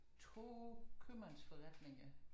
2 købmandsforretninger